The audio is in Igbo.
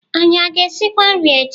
Anyị a ga-esikwa nri echi?